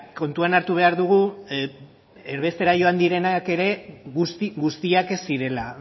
kontuan hartu behar dugu erbestera joan direnak ere guzti guztiak ez zirela